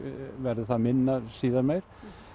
verður það minna síðar meir